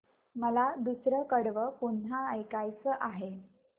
मला दुसरं कडवं पुन्हा ऐकायचं आहे